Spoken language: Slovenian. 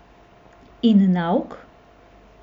In nauk?